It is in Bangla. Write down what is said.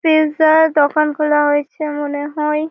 পিজার দোকানগুলো হয়েছে মনে হয়।